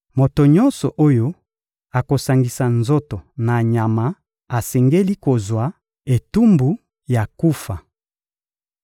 Moto nyonso oyo akosangisa nzoto na nyama, asengeli kozwa etumbu ya kufa.